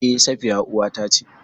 E Safiya uwata ce.